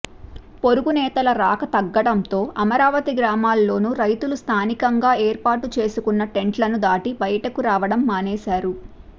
పొరుగు నేతల రాక తగ్గడంతో అమరావతి గ్రామాల్లోనూ రైతులు స్ధానికంగా ఏర్పాటు చేసుకున్న టెంట్లను దాటి బయటకు రావడం మానేశారు